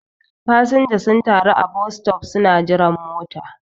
fasinja sun taru a bostop suna jiran mota